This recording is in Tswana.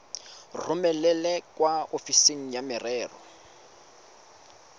romele kwa ofising ya merero